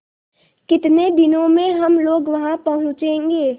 कितने दिनों में हम लोग वहाँ पहुँचेंगे